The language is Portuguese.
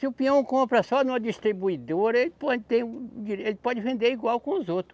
Se o peão compra só numa distribuidora, ele pode ter um di, ele pode vender igual com os outros.